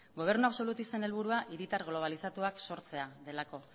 gobernu absolutisten helburua hiritar globalizatuak sortzea delako